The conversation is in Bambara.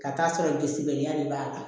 Ka taa sɔrɔ biliya de b'a kan